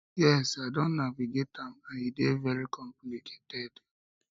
yes i don navigate am and e dey very complicated